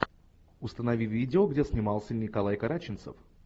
установи видео где снимался николай карачинцев